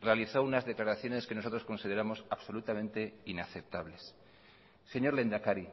realizó unas declaraciones que nosotros consideramos absolutamente inaceptables señor lehendakari